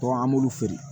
Tɔn an b'olu feere